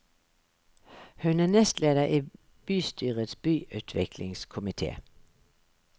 Hun er nestleder i bystyrets byutviklingskomité.